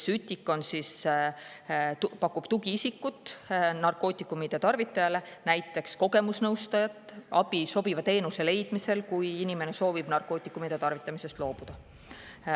SÜTIK pakub tugiisikut narkootikumide tarvitajatele, näiteks kogemusnõustajat ja abi sobiva teenuse leidmiseks, kui inimene soovib narkootikumide tarvitamisest loobuda.